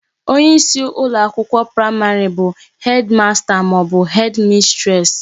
Onye isi ụlọ akwụkwọ praịmarị bu Hedi masta maọbụ Hedi mistres